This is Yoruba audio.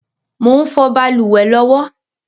Mò ń fọ̀ balùwẹ̀ lọ́wọ́